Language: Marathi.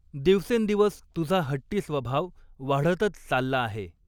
दिवसेंदिवस तुझा हट्टी स्वभाव वाढतच चालला आहे.